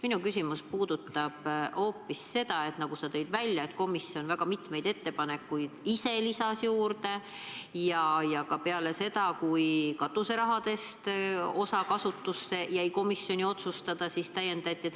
Minu küsimus puudutab hoopis seda, et nagu sa tõid välja, komisjon lisas väga mitmeid ettepanekuid ise juurde ja peale seda, kui osa katuseraha kasutusest jäi komisjoni otsustada, täiendati.